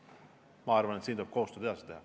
Ma arvan, et tuleb koostööd edasi teha.